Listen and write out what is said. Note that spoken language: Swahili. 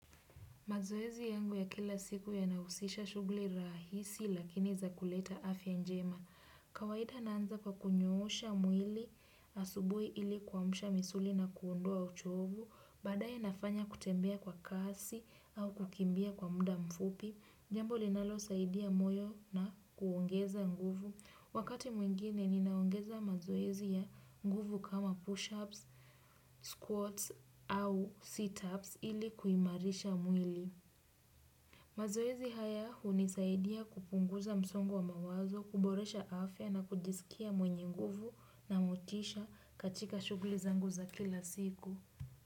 Mazoezi yangu ya kila siku yanahusisha shughuli rahisi lakini za kuleta afya njema. Kawaida naanza kwa kunyoosha mwili asubuhi ili kuamsha misuli na kuondoa uchovu. Baadaye nafanya kutembea kwa kasi au kukimbia kwa muda mfupi. Jambo linalo saidia moyo na kuongeza nguvu. Wakati mwingine ni naongeza mazoezi ya nguvu kama push-ups, squats au sit-ups ili kuimarisha mwili. Mazoezi hayahu nisaidia kupunguza msongo wa mawazo, kuboresha afya na kujisikia mwenye nguvu na motisha katika shughuli zangu za kila siku.